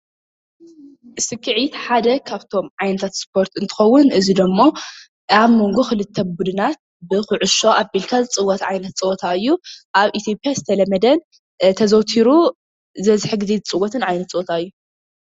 ስክዔት ሓደ ካብቶም ዓይነታት ስፖርት እንትከዉን እዚ ድሞ ኣብ መንጎ ክልተ ቡድናት ብኩዕሶ ኣቢልካ ዝፅወት ዓይነት ፀወታ እዩ። ኣብ ኢትዮጲያ ዝተለመደ ተዘውቲሩ ዝበዝሕ ግዜ ዝፅወት ዓይነት ፀወታ እዩ።